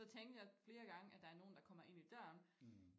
Så tænkte jeg flere gange at der er nogen der kommer ind i døren